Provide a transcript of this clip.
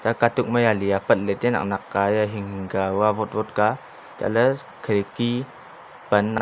katuk ma jale apat le tai a nak nak ka he aa hing hing ka avotle ka chatle khirki pan--